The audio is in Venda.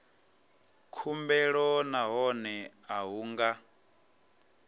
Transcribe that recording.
khumbelo nahone a hu nga